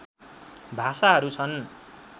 भाषाहरू छन्